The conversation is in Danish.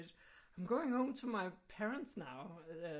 I'm going home to my parents now